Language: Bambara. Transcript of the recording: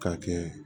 K'a kɛ